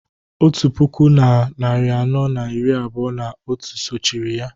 otu puku na narị anọ na iri abụọ na otu sochiri ya